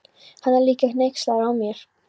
Hann er líka hneykslaður á mér.